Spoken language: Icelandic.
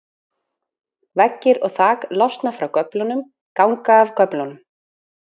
Veggir og þak losna frá göflunum, ganga af göflunum.